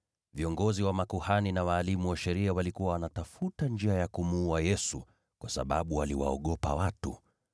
Viongozi wa makuhani na walimu wa sheria walikuwa wanatafuta njia ya kumuua Yesu, kwa sababu waliwaogopa watu.